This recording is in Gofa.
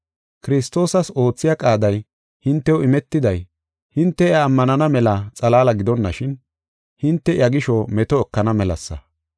Kiristoosas oothiya qaaday hintew imetiday, hinte iya ammanana mela xalaala gidonashin hinte iya gisho meto ekana melasa.